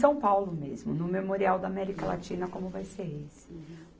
São Paulo mesmo, no Memorial da América Latina, como vai ser esse. Uhum.